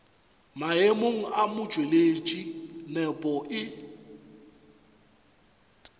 maemong a motšweletši nepo e